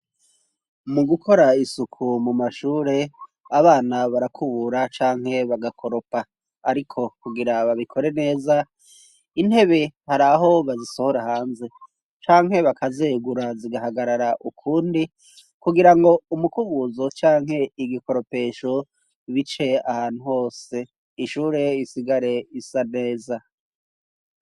Mu gukora isuku mu mashure, abana barakubura canke bagakoropa ariko kugira babikore neza, intebe hari aho bazisohora hanze canke bakazegura zigahagarara ukund,i kugira ngo umukubuzo canke igikoropesho bice ahantu hose ishure risigare risa neza.